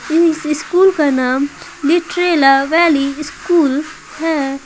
इस स्कूल का नाम लिटरेला वैली स्कूल है।